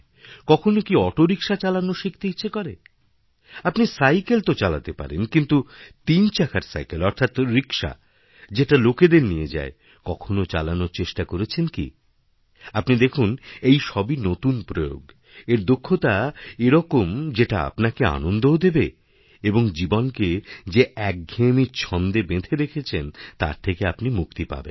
কখনো কিঅটোরিক্সা চালানো শিখতে ইচ্ছে করে আপনি সাইকেল তো চালাতে পারেন কিন্তু তিনচাকার সাইকেল অর্থাৎ রিক্সা যেটা লোকেদের নিয়ে যায় কখনো চালানোর চেষ্টা করেছেনকি আপনি দেখুন এসবই নতুন প্রয়োগ এর দক্ষতা এরকম যেটা আপনাকে আনন্দও দেবে এবংজীবনকে যে একঘেঁয়েমি ছন্দে বেঁধে রেখেছেন তার থেকে আপনি মুক্তি পাবেন